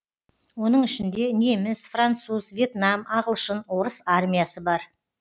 оның ішінде неміс француз въетнам ағылшын орыс армиясы бар